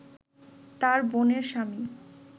তার বোনের স্বামী